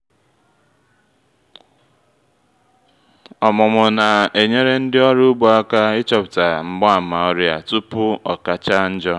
ọmụmụ na-enyere ndị ọrụ ugbo aka ịchọpụta mgbaàmà ọrịa tupu o kacha njo